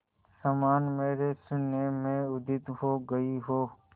समान मेरे शून्य में उदित हो गई हो